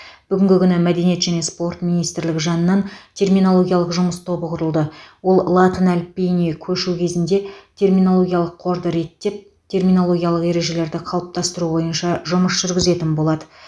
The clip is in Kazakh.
бүгінгі күні мәдениет және спорт министрлігі жанынан терминологиялық жұмыс тобы құрылды ол латын әліпбиіне көшу кезінде терминологиялық қорды реттеп терминологиялық ережелерді қалыптастыру бойынша жұмыс жүргізетін болады